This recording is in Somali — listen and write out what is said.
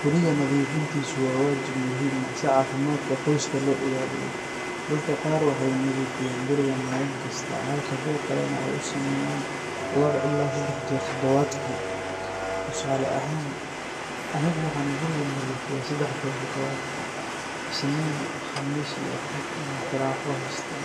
Guriga nadiifintiisu waa waajib muhiim ah si caafimaadka qoyska loo ilaaliyo. Dadka qaar waxay nadiifiyaan guriga maalin kasta, halka kuwa kalena ay u sameeyaan laba ilaa saddex jeer toddobaadkii. Tusaale ahaan, anigu waxaan guriga nadiifiyaa saddex jeer toddobaadkii. Isniin, Khamiis, iyo Axad ayaan firaaqo haystaa,